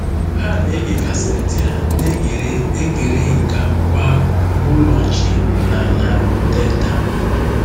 Ha na-ege kaseti a na-egere egere nke akwụkwọ ahụ na Ụlọ Nche na na Teta!